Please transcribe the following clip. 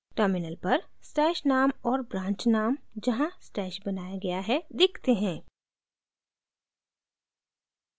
terminal पर stash name और branch name जहाँ stash बनाया गया है दिखते है